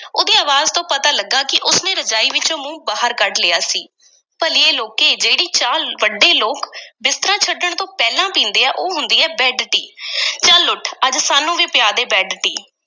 ਉਸ ਦੀ ਅਵਾਜ਼ ਤੋਂ ਪਤਾ ਲੱਗਾ ਕਿ ਉਸ ਨੇ ਰਜਾਈ ਵਿੱਚੋਂ ਮੂੰਹ ਬਾਹਰ ਕੱਢ ਲਿਆ ਸੀ, ਭਲੀਏ ਲੋਕੇ, ਜਿਹੜੀ ਚਾਹ ਵੱਡੇ ਲੋਕ ਬਿਸਤਰਾ ਛੱਡਣ ਤੋਂ ਪਹਿਲਾਂ ਪੀਂਦੇ ਆ ਉਹ ਹੁੰਦੀ ਐ, ਬੈੱਡ-ਟੀ ਚੱਲ ਉੱਠ, ਅੱਜ ਸਾਨੂੰ ਵੀ ਪਿਆ ਦੇ ਬੈੱਡ-ਟੀ।